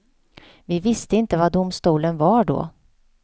Vi visste inte vad domstolen var då.